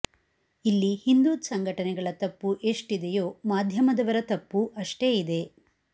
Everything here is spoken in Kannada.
ಇಲ್ಲಿ ಹಿಂದೂ ಸಂಘಟನೆಗಳ ತಪ್ಪು ಎಷ್ಟಿದೆಯೋ ಮಾಧ್ಯಮದವರ ತಪ್ಪೂ ಅಷ್ಟೇ ಇದೆ